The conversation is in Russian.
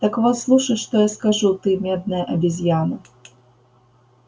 так вот слушай что я скажу ты медная обезьяна